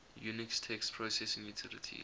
unix text processing utilities